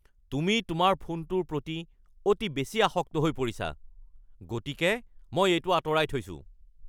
তুমি তোমাৰ ফোনটোৰ প্ৰতি অতি বেছি আসক্ত হৈ পৰিছা, গতিকে মই এইটো আঁতৰাই থৈছোঁ